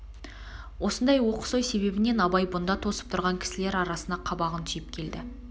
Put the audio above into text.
осындай оқыс ой себебінен абай бұнда тосып тұрған кісілер арасына қабағын түйіп келді